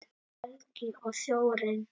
Helgi og Þórunn.